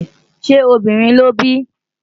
ṣé obìnrin lóbí?